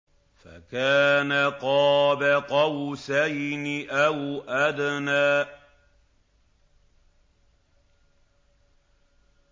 فَكَانَ قَابَ قَوْسَيْنِ أَوْ أَدْنَىٰ